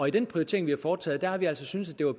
i den prioritering vi har foretaget har vi altså syntes det var